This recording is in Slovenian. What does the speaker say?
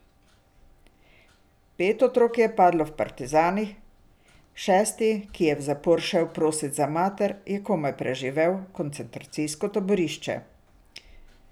Pet otrok je padlo v partizanih, šesti, ki je v zapor šel prosit za mater, je komaj preživel koncentracijsko taborišče.